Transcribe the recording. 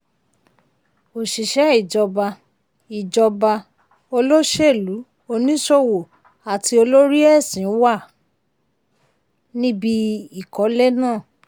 òṣìṣẹ́ ìjọba ìjọba olóṣèlú oníṣòwò àti olórí ẹ̀sìn wà níbi ìkọ́lé náà.